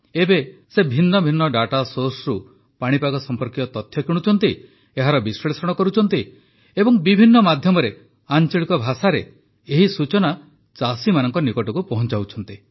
ଏବେ ସେ ଭିନ୍ନ ଭିନ୍ନ ଡାଟା ସୋର୍ସରୁ ପାଣିପାଗ ସମ୍ପର୍କୀୟ ତଥ୍ୟ କିଣୁଛନ୍ତି ଏହାର ବିଷ୍ଳେଷଣ କରୁଛନ୍ତି ଏବଂ ବିଭିନ୍ନ ମାଧ୍ୟମରେ ଆଞ୍ଚଳିକ ଭାଷାରେ ଏହି ସୂଚନା ଚାଷୀମାନଙ୍କ ନିକଟକୁ ପହଞ୍ଚାଉଛନ୍ତି